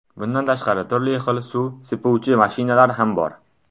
Bundan tashqari, turli xil suv sepuvchi mashinalar ham bor.